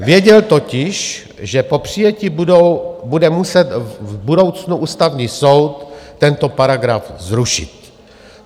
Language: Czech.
Věděl totiž, že po přijetí bude muset v budoucnu Ústavní soud tento paragraf zrušit.